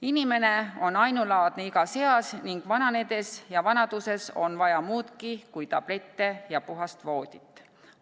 Inimene on ainulaadne igas eas ning vananedes ja vanaduses on vaja muudki kui tablette ja puhast voodit.